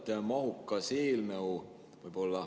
Küllalt mahukas eelnõu.